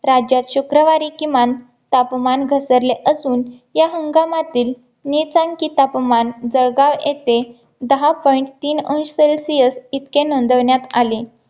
राज्यात शुक्रवारी किमान तापमान घसरले असून या हंगामातील निसंखी तापमान जळगाव येथे दहा point तीन अंश celsius इतके नोंदवण्यात आले